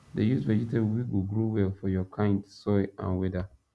dey use vegetable wey go grow well for your kind soil and weather